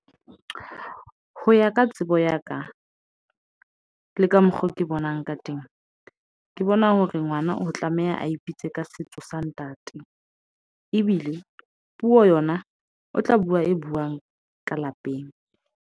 Ho ya ka tsebo ya ka, le ka mokgo ke bonang ka temo. Ke bona hore ngwana o tlameha a ipitse ka setso sa ntate. Ebile puo yona o tla bua e buang ka lapeng.